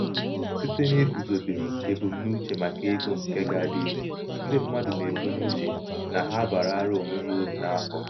site n'iguzobe ebumnobi maka ego nke ga-adị ire ndị mmadụ na-ebu n'uche na ha abaarala onwe ha uru n'afọ.